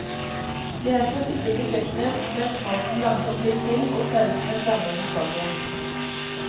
Det er som å sitte på kjøkkenet mens maten langsomt blir til, og sausene flammer mot taket.